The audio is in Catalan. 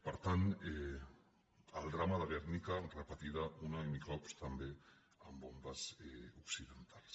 per tant el drama de gernika repetit un i mil cops també amb bombes occidentals